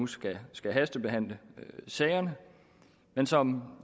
skal skal hastebehandle sagen men som